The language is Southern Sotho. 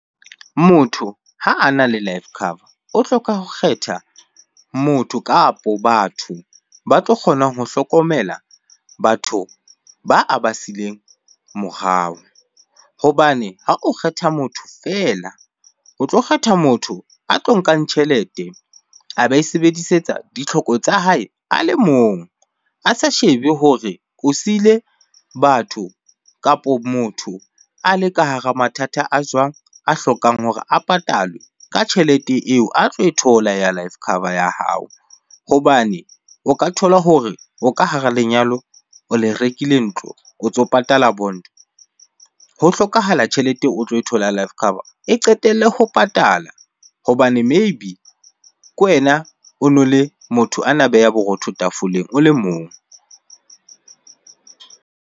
Motho ha a na le life cover o hloka ho kgetha motho kapo batho ba tlo kgonang ho hlokomela batho ba a ba sileng morao. Hobane ha o kgetha motho feela, o tlo kgetha motho a tlo nkang tjhelete a ba e sebedisetsa ditlhoko tsa hae a le mong. A sa shebe hore o siile batho kapo motho a le ka hara mathata a jwang, a hlokang hore a patalwe ka tjhelete eo a tlo e thola ya life cover ya hao. Hobane o ka thola hore o ka hara lenyalo, o le rekile ntlo, o ntso patala bond, ho hlokahala tjhelete o tlo e thola life cover e qetelle ho patala hobane maybe ke wena ono le motho ana beha borotho tafoleng o le mong.